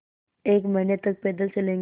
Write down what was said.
एक महीने तक पैदल चलेंगे